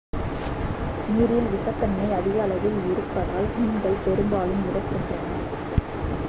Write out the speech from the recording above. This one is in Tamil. நீரில் விஷத்தன்மை அதிக அளவில் இருப்பதால் மீன்கள் பெரும்பாலும் இறக்கின்றன